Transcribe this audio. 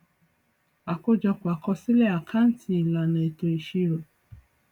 àkójọpọ akosile àkáǹtì ìlànà eto ìṣirò